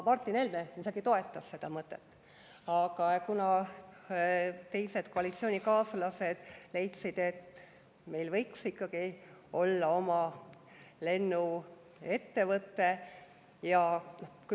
Martin Helme isegi toetas seda mõtet, aga koalitsioonikaaslased leidsid, et meil võiks ikkagi olla oma lennuettevõte.